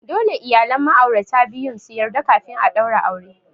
Dole iyalan ma'aurata biyun su yarda kafin a daura aure.